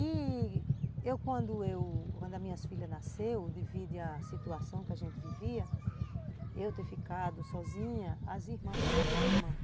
E eu, quando a minha filha nasceu, devido à situação que a gente vivia, eu ter ficado sozinha, as irmãs, eu conheci as irmãs.